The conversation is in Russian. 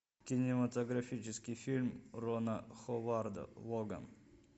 кинематографический фильм рона ховарда логан